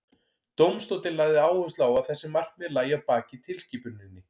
dómstóllinn lagði áherslu á að þessi markmið lægju að baki tilskipuninni